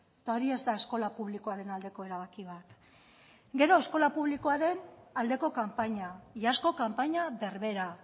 eta hori ez da eskola publikoaren aldeko erabaki bat gero eskola publikoaren aldeko kanpaina iazko kanpaina berbera